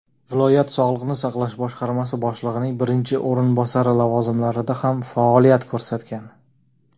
viloyat sog‘liqni saqlash boshqarmasi boshlig‘ining birinchi o‘rinbosari lavozimlarida ham faoliyat ko‘rsatgan.